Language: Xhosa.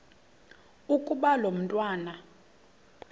ukuba lo mntwana